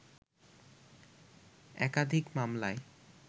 একাধিক মামলায়